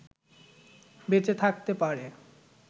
বেঁচে থাকতে পারে